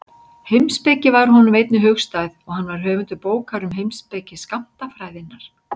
Heimspeki var honum einnig hugstæð og hann var höfundur bókar um heimspeki skammtafræðinnar.